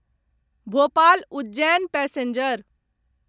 Bhopal Ujjain passenger